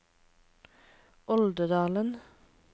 Oldedalen